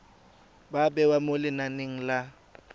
ba bewa mo lenaneng la